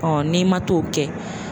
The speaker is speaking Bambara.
n'i ma t'o kɛ